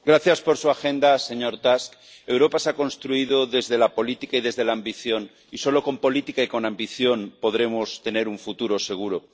Señora presidenta. Gracias por su agenda, señor Tusk. Europa se ha construido desde la política y desde la ambición y solo con política y con ambición podremos tener un futuro seguro.